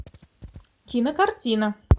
кинокартина